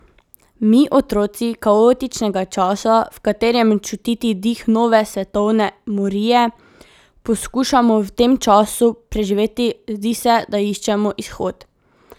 Mi, otroci kaotičnega časa, v katerem je čutiti dih nove svetovne morije, poskušamo v tem času preživeti, zdi se, da iščemo izhod.